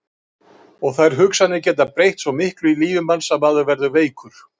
Og þær hugsanir geta breytt svo miklu í lífi manns að maður verður veikur.